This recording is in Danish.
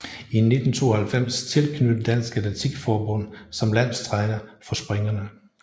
I 1992 tilknyttet Dansk Atletik Forbund som landstræner for springerne